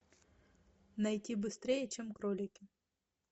найти быстрее чем кролики